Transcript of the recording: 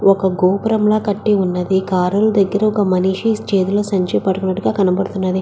ఒక గోపురంలా కట్టి ఉన్నది కారు ల దగ్గర ఒక మనిషి చేతిలో సంచి పట్టుకున్నట్టుగా కనపడతున్నది.